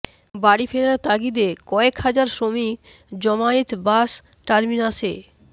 বাড়ি ফেরার তাগিদে কয়েক হাজার শ্রমিক জমায়েত বাস টার্মিনাসে